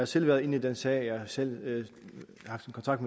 selv været inde i den sag jeg har selv haft kontakt